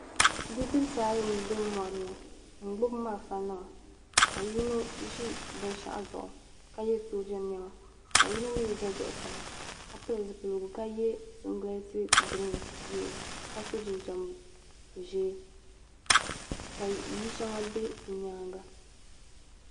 Bidibisi ayi m bɛ mɔri ni m gbubi malfanima ka yino ʒi binshɛɣu zuɣu ka ye sooja nɛma ka yino mi za zuɣusaa ka pili zupiligu ka ye singilati green ka so jinjɛm ʒee ka ya shɛŋa bɛ nyaaŋa.